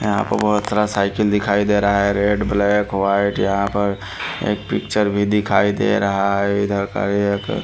यहां पर बहुत सारा साइकिल दिखाई दे रहा है रेड ब्लैक वाइट यहां पर एक पिक्चर भी दिखाई दे रहा है इधर।